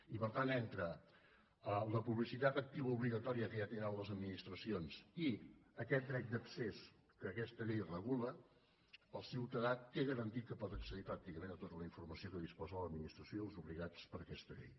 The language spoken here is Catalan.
i per tant entre la publicitat activa obligatòria que ja tenen les administracions i aquest dret d’accés que aquesta llei regula el ciutadà té garantit que pot accedir pràcticament a tota la informació de què disposen l’administració i els obligats per aquesta llei